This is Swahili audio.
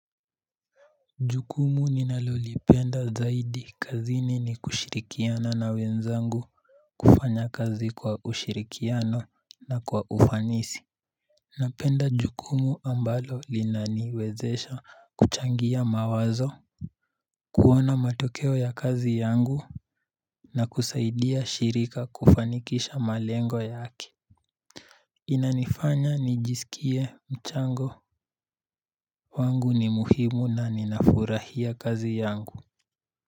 Jukumu ninalolipenda zaidi kazini ni kushirikiana na wenzangu kufanya kazi kwa ushirikiano na kwa ufanisi Napenda jukumu ambalo linaniwezesha kuchangia mawazo kuona matokeo ya kazi yangu na kusaidia shirika kufanikisha malengo yake Inanifanya nijisikie mchango wangu ni muhimu na ninafurahia kazi yangu.